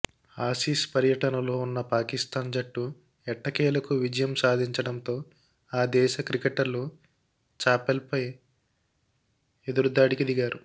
Aussies పర్యటనలో ఉన్న పాకిస్థాన్ జట్టు ఎట్టకేలకు విజయం సాధించడంతో ఆ దేశ క్రికెటర్లు చాపెల్పై ఎదురుదాడికి దిగారు